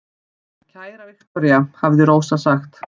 Kæra Viktoría, hafði Rósa sagt.